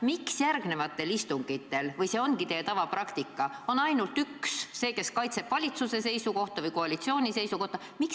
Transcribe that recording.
Miks järgmistel istungitel on kohal olnud ainult üks – see, kes kaitseb valitsuse seisukohta või koalitsiooni seisukohta?